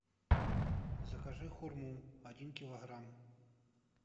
закажи хурму один килограмм